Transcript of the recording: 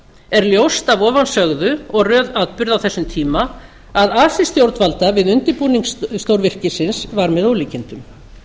er ljóst af ofansögðu og röð atburða á þessum tíma að asi stjórnvalda við undirbúning stórvirkisins var með ólíkindum